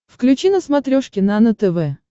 включи на смотрешке нано тв